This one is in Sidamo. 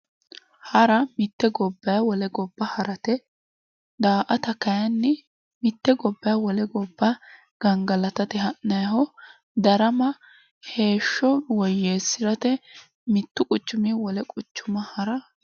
Hara mitte gobbayi wole gobba harate daa"ata kayi mitte gobbayi wole gobba gangalatate ha'nayiho darama heeshsho woyyeessirate mittu quchumii wole quchuma harate